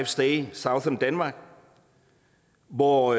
stay southern denmark hvor